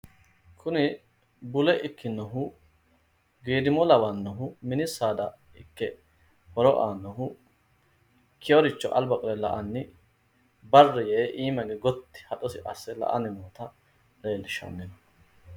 Kuni bule ikkinohu geedimo lawannohu mini saada ikke horo aannohu ikkeyooricho alba qole la''anni barri yee iima hige gotti haxosi asse la"anni noota leellishshanno